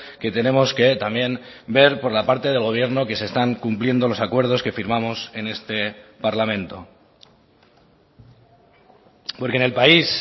que tenemos que también ver por la parte del gobierno que se están cumpliendo los acuerdos que firmamos en este parlamento porque en el país